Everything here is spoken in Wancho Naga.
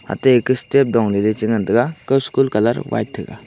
ate dong ley che ngan taiga ko school colour e white tega.